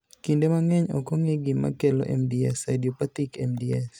Kinde mang'eny ok ong'e gima kelo MDS (idiopathic MDS).